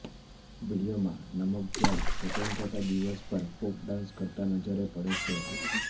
વીડિયોમાં નમગ્યાલ સ્વતંત્રતા દિવસ પર ફોક ડાંસ કરતા નજરે પડે છે